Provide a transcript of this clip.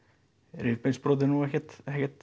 rifbeinsbrot er nú ekkert